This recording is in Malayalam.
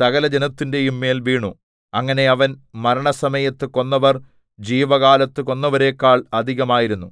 സകലജനത്തിന്റെയും മേൽ വീണു അങ്ങനെ അവൻ മരണസമയത്ത് കൊന്നവർ ജീവകാലത്ത് കൊന്നവരെക്കാൾ അധികമായിരുന്നു